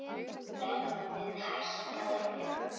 Verðið hækkaði fljótt.